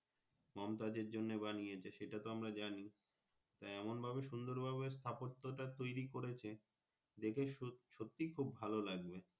মমতাজের এর জন্য বানিতেছে সেটা তো আমরা জানি এমন ভাবে সুন্দর ভাবে স্থাপত্বতা টা তৌরি করেছে দেখে সোসত্যি খুব ভালো লাগবে।